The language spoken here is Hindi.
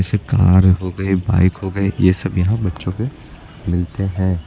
जैसे कार हो गई बाइक हो गई ये सब यहां बच्चों के मिलते हैं।